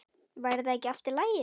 Væri það ekki í lagi?